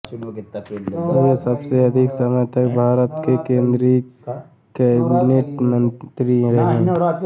वे सबसे अधिक समय तक भारत के केन्द्रीय कैबिनेट मंत्री रहे